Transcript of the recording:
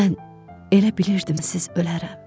Mən elə bilirdim siz ölərəm.